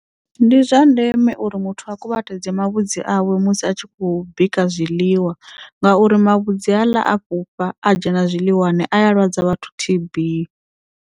Ndi zwa ndeme uri muthu a kuvhatedze mavhudzi awe musi a tshi khou bika zwiḽiwa ngauri mavhudzi haaḽa a fhufha a dzhena zwiḽiwani aya lwadza vhathu T_B.